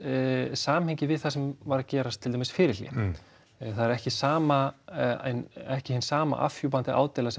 samhengi við það sem var að gerast fyrir hlé það er ekki sama ekki sama afhjúpandi ádeila